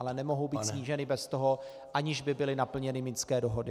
Ale nemohou být sníženy bez toho, aniž by byly naplněny minské dohody.